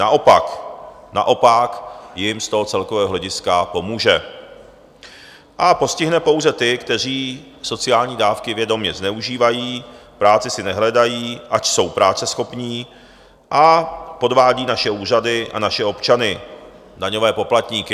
Naopak, naopak jim z toho celkového hlediska pomůže a postihne pouze ty, kteří sociální dávky vědomě zneužívají, práci si nehledají, ač jsou práceschopní, a podvádí naše úřady a naše občany, daňové poplatníky.